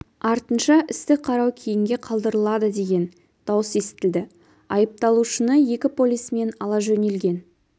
артынша істі қарау кейінге қалдырылады деген дауыс естілді айыпталушыны екі полисмен ала жөнелген